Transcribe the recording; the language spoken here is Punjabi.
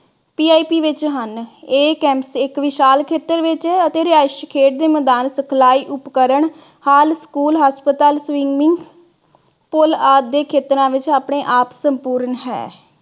PIP ਵਿਚ ਹਨ । ਇਹ campus ਇਕ ਵਿਸ਼ਾਲ ਖੇਤਰ ਵਿਚ ਹੈ ਅਤੇ ਰਿਹਾਇਸ਼ੀ ਖੇਡ ਦੇ ਮੈਦਾਨ, ਸਿਖਲਾਈ ਉਪਕਰਨ, ਹਾਲ school, ਹਸਪਤਾਲ, swimming ਪੁਲ ਆਦਿ ਦੇ ਖੇਤਰਾਂ ਵਿਚ ਆਪਣੇ ਆਪ ਸੰਪੂਰਨ ਹੈ।